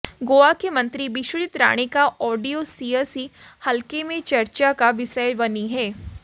गोवा के मंत्री विश्वजीत राणे का ऑडियो सियासी हलके में चर्चा का विषय बनी है